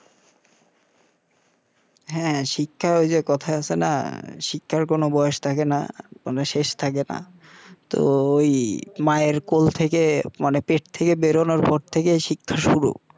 হা শিক্ষা ঐযে কথায় আছেনা শিক্ষার কোন বয়স থাকেনা মানে শেষ থাকেনা তো ঐ মায়ের কোল থেকেই মানে পেট থেকে বেরোনোর পর থেকেই শিক্ষা শুরু